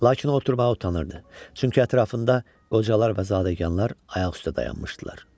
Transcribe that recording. Lakin o oturmağa utanırdı, çünki ətrafında qocalar və zadəganlar ayaq üstə dayanmışdılar.